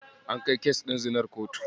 An kai kes ɗin zinar kotu.